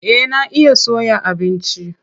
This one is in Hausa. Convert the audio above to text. Eh na iya soya abinci.